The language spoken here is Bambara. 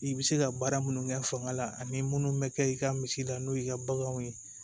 I bɛ se ka baara minnu kɛ fanga la ani minnu bɛ kɛ i ka misi la n'o y'i ka baganw ye